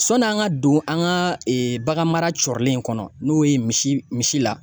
Sɔni an ka don an ka bagan mara cɔrilen in kɔnɔ n'o ye misi misi la.